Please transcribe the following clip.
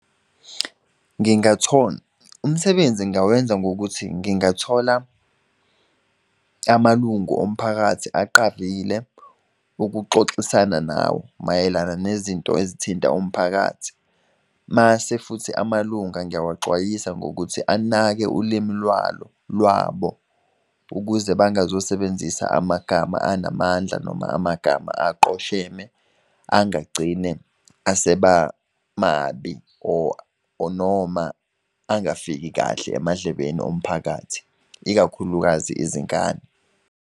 umsebenzi nginawenza ngokuthi ngingathola amalungu omphakathi aqavile ukuxoxisana nawo mayelana nezinto ezithinta umphakathi. Mase futhi amalunga ngiyawaxwayisa ngokuthi anake ulimi lwalo lwabo, ukuze bangazo sebenzisa amagama anamandla noma amagama aqosheme angagcine aseba mabi or noma angafiki kahle emadlebeni omphakathi ikakhulukazi izingane.